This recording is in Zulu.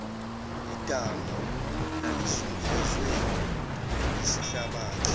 idamu lalizungezwe yisihlabathi